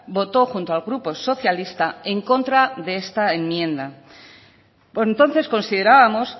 votó junto al grupo socialista en contra de esta enmienda por entonces considerábamos